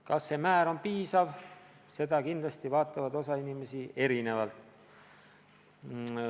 Kas see määr on piisav, sellesse kindlasti inimesed suhtuvad erinevalt.